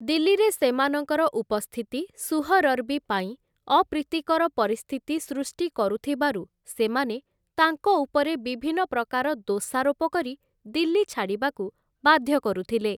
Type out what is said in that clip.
ଦିଲ୍ଲୀରେ ସେମାନଙ୍କର ଉପସ୍ଥିତି ସୁହରର୍ବୀ ପାଇଁ ଅପ୍ରୀତିକର ପରିସ୍ଥିତି ସୃଷ୍ଟି କରୁଥିବାରୁ ସେମାନେ ତାଙ୍କ ଉପରେ ବିଭିନ୍ନ ପ୍ରକାର ଦୋଷାରୋପ କରି ଦିଲ୍ଲୀ ଛାଡ଼ିବାକୁ ବାଧ୍ୟ କରୁଥିଲେ ।